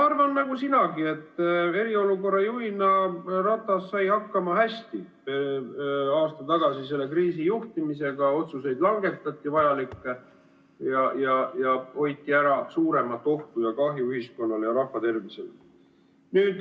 Ma arvan nagu sinagi, et eriolukorra juhina sai Ratas aasta tagasi selle kriisi juhtimisega hästi hakkama, langetati vajalikke otsuseid ja hoiti ära suuremat ohtu ja kahju ühiskonnale ja rahva tervisele.